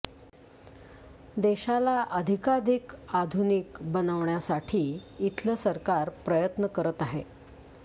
देशाला अधिकाधिक आधुनिक बनवण्यासाठी इथलं सरकार प्रयत्न करत आहे